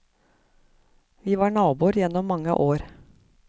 Vi var naboer gjennom mange år.